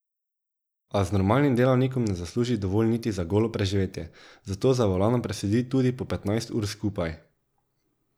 A z normalnim delavnikom ne zasluži dovolj niti za golo preživetje, zato za volanom presedi tudi po petnajst ur skupaj.